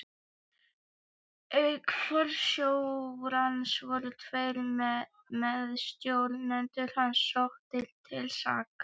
Auk forstjórans voru tveir meðstjórnendur hans sóttir til saka.